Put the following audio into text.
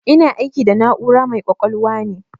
Ina aiki da na'ura mai ƙwaƙwalwa ne.